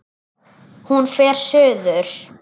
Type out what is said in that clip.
Hún fer suður.